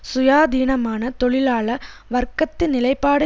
சுயாதீனமான தொழிலாள வர்க்கத்து நிலைப்பாடு